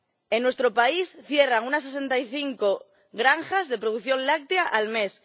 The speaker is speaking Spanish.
En nuestro país cierran unas 65 granjas de producción láctea al mes.